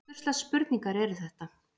Hvurslags spurningar eru þetta?